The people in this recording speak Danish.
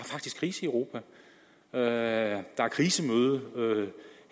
faktisk krise i europa og der er krisemøde